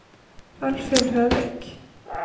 Alvhild Høvik